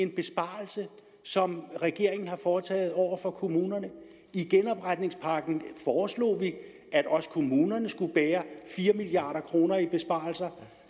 besparelse som regeringen har foretaget over for kommunerne i genopretningspakken foreslog vi at også kommunerne skulle bære fire milliard kroner i besparelser